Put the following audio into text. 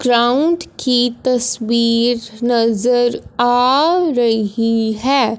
Ground की तस्वीर नजर आ रही है।